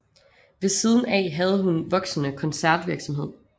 Ved siden af havde hun voksende koncertvirksomhed